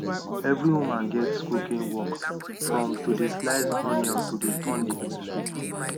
every woman gets cooking work from to dey slice onions to dey turn the pepper soup